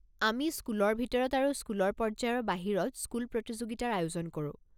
আমি স্কুলৰ ভিতৰত আৰু স্কুলৰ পৰ্য্যায়ৰ বাহিৰত স্কুল প্ৰতিযোগিতাৰ আয়োজন কৰো।